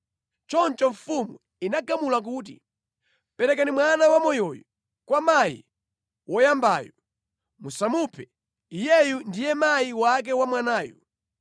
Choncho mfumu inagamula kuti, “Perekani mwana wamoyoyu kwa mayi woyambayu. Musamuphe, iyeyu ndiye mayi wake wa mwanayu.”